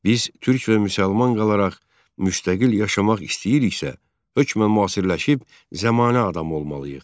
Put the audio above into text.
Biz türk və müsəlman qalaraq müstəqil yaşamaq istəyiriksə, hökmən müasirləşib zəmanə adamı olmalıyıq.